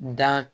Dan